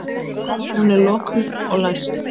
Hún er lokuð og læst.